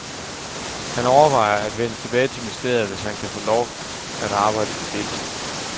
Han overvejer at vende tilbage til ministeriet, hvis han kan få lov at arbejde på deltid.